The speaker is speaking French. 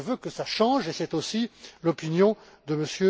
et les gros. Je veux que cela change, et c'est aussi l'opinion